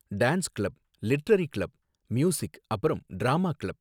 dance club, literary club, music அப்பறம் drama club